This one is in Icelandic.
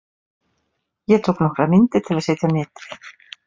Ég tók nokkrar myndir til að setja á netið.